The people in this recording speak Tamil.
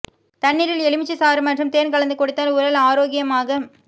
தண்ணீரில் எலுமிச்சை சாறு மற்றும் தேன் கலந்து குடித்தால் உடல் ரோக்கியமாக